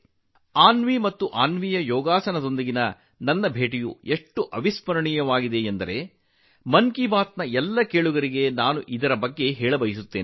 ಅನ್ವಿ ಮತ್ತು ಅನ್ವಿಯ ಯೋಗದೊಂದಿಗಿನ ನನ್ನ ಭೇಟಿಯು ಎಷ್ಟು ಸ್ಮರಣೀಯವಾಗಿದೆ ಎಂದರೆ ಮನ್ ಕಿ ಬಾತ್ ನ ಎಲ್ಲಾ ಕೇಳುಗರಿಗೆ ನಾನು ಅದರ ಬಗ್ಗೆ ಹೇಳಲು ಬಯಸುತ್ತೇನೆ